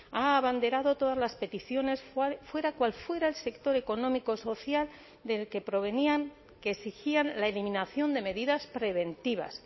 ha abanderado todas las peticiones fuera cual fuera el sector económico social del que provenían que exigían la eliminación de medidas preventivas